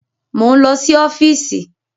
Mo ń lọ sí ọ́fíìsì